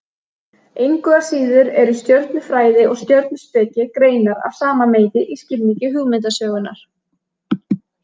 Engu að síður eru stjörnufræði og stjörnuspeki greinar af sama meiði í skilningi hugmyndasögunnar.